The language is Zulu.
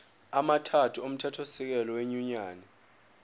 amathathu omthethosisekelo wenyunyane